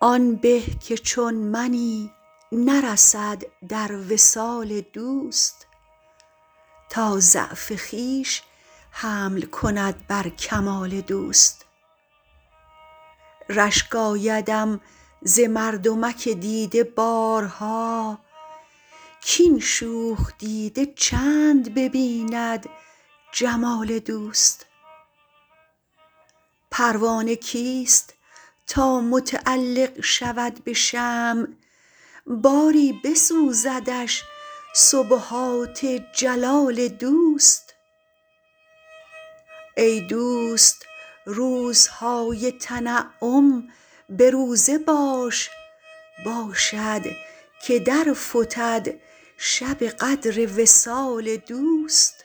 آن به که چون منی نرسد در وصال دوست تا ضعف خویش حمل کند بر کمال دوست رشک آیدم ز مردمک دیده بارها کاین شوخ دیده چند ببیند جمال دوست پروانه کیست تا متعلق شود به شمع باری بسوزدش سبحات جلال دوست ای دوست روزهای تنعم به روزه باش باشد که در فتد شب قدر وصال دوست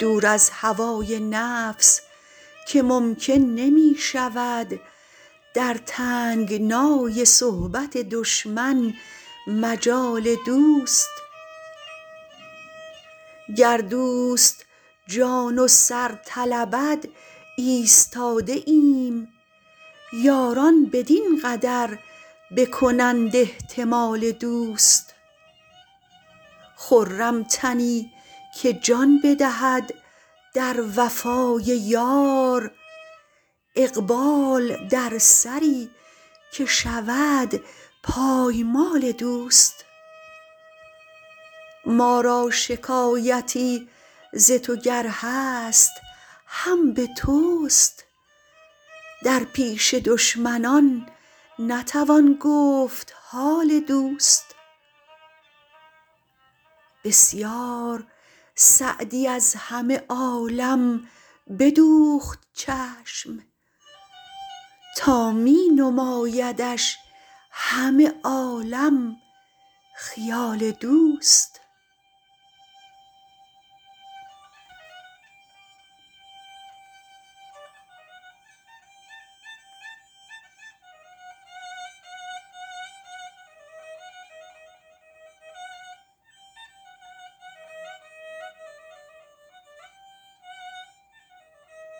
دور از هوای نفس که ممکن نمی شود در تنگنای صحبت دشمن مجال دوست گر دوست جان و سر طلبد ایستاده ایم یاران بدین قدر بکنند احتمال دوست خرم تنی که جان بدهد در وفای یار اقبال در سری که شود پایمال دوست ما را شکایتی ز تو گر هست هم به توست در پیش دشمنان نتوان گفت حال دوست بسیار سعدی از همه عالم بدوخت چشم تا می نمایدش همه عالم خیال دوست